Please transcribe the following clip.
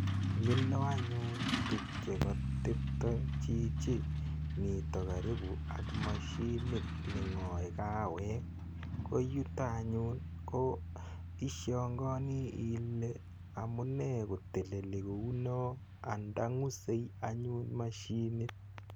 Mila anyun tugcheka tepta chichi mita karipu ak mashinit ne ng'ae kawek. Ko yuto anyun ishangaani ile amune ko teleli kou no, ang'da ng'use anyun mashinit.